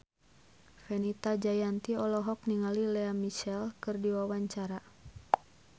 Fenita Jayanti olohok ningali Lea Michele keur diwawancara